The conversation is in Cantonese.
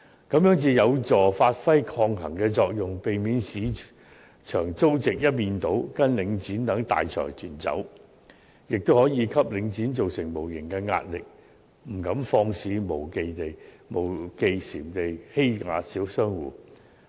這樣才有助發揮抗衡的作用，避免市場租值一面倒跟隨領展等大財團走，亦可以給領展造成無形壓力，不敢肆無忌憚地欺壓小商戶。